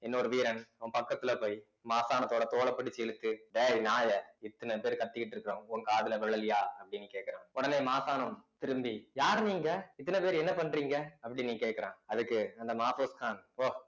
இன்னொரு வீரன் அவன் பக்கத்துல போய் மாசாணத்தோட தோலை பிடிச்சு இழுத்து டேய் நாயே இத்தன பேர் கத்திக்கிட்டு இருக்கோம் உன் காதுல விழலையா அப்படின்னு கேட்கிறான் உடனே மாசாணம் திரும்பி யார் நீங்க இத்தனை பேரு என்ன பண்றீங்க அப்படின்னு கேட்கிறான் அதுக்கு அந்த மாபோஸ்கான்